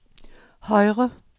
højre